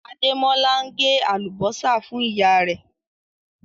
Àdémọ́lá ǹ gé alúbọ̀sà fún iyà rẹ̀